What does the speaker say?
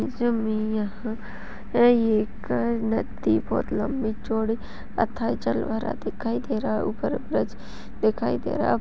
इसमें में यहाँ है एक अ नदी बहोत लंबी चौड़ी जल भरा दिखाई दे रहा है ऊपर ब्रिज दिखाई दे रहा है।